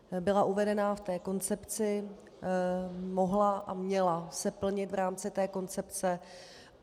Byla uvedena v té koncepci, mohla a měla se plnit v rámci té koncepce.